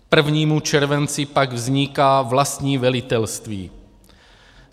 K 1. červenci pak vzniká vlastní velitelství.